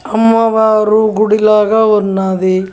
అమ్మవారు గుడి లాగా ఉన్నాది.